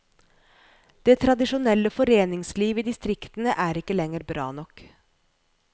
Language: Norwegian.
Det tradisjonelle foreningsliv i distriktene er ikke lenger bra nok.